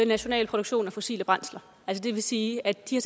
national produktion af fossile brændsler det vil sige at de